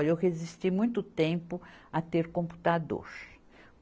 Olha, eu resisti muito tempo a ter computador.